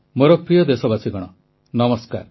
ମୋର ପ୍ରିୟ ଦେଶବାସୀଗଣ ନମସ୍କାର